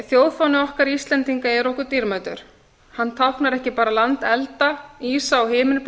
þjóðfáni okkar íslendinga er okkur dýrmætur hann táknar ekki bara land elda ísa og